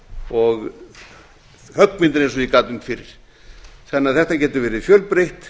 og höggmyndir eins og ég gat um fyrr þannig að þetta getur verið fjölbreytt